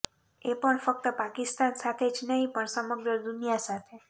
એ પણ ફક્ત પાકિસ્તાન સાથે જ નહીં પણ સમગ્ર દુનિયા સાથે